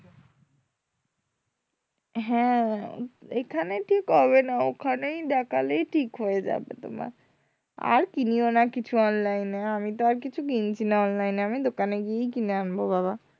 হ্যাঁ এখানে ঠিক হবে না ওখানেই দেখালেই ঠিক হয়ে যাবে তোমার আর কিনিও না কিছু online এ আমি তো আর কিছু কিনছি না online এ আমি দোকানেই গিয়ে কিনে আনবো বাবা,